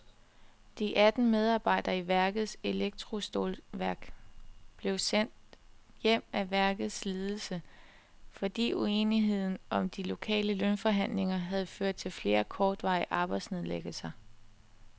De atten medarbejdere i værkets elektrostålværk blev sendt hjem af værkets ledelse, fordi uenigheden om de lokale lønforhandlinger havde ført til flere kortvarige arbejdsnedlæggelser.